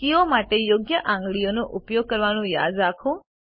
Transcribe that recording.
કીઓ માટે યોગ્ય આંગળીઓ ઉપયોગ કરવાનું યાદ રાખો